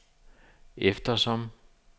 eftersom